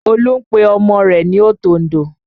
Olú ń pe ọmọ rẹ̀ ní òtòǹdò